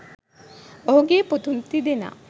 ඔහුගේ පුතුන් තිදෙනා